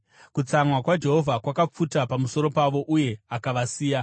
Kutsamwa kwaJehovha kwakapfuta pamusoro pavo, uye akavasiya.